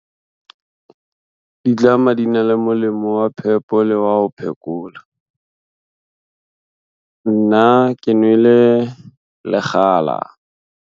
Ditlama di na le molemo wa phepo le wa ho phekola. Nna ke nwele lekgala.